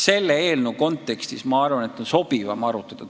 Selle eelnõu kontekstis, ma arvan, on sobivam seda teemat arutada.